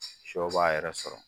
Sɔ b'a yɛrɛ sɔrɔ